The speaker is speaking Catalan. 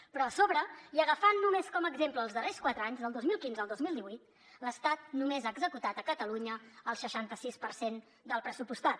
però a sobre i agafant només com a exemple els darrers quatre anys del dos mil quinze al dos mil divuit l’estat només ha executat a catalunya el seixanta sis per cent del pressupostat